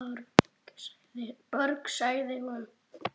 Björg, sagði hún.